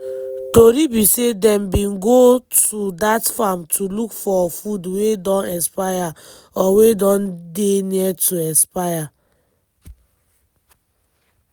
tori be say dem bin go to dat farm to look for food wey don expire or wey don dey near to expire.